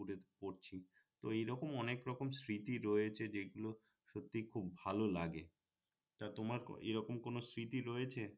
তো এই রকম অনেক রকম স্মৃতি রয়েছে যেগুলো সত্যিই খুব ভাল লাগে তা তোমার এই রকম কোনো স্মৃতি রয়েছে